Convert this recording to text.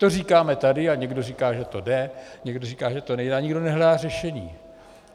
To říkáme tady, a někdo říká, že to jde, někdo říká, že to nejde a nikdo nehledá řešení.